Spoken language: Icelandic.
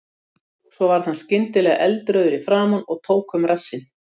Svo varð hann skyndilega eldrauður í framan og tók um rassinn.